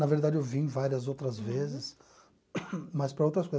Na verdade, eu vim várias outras vezes, mas para outras coisas.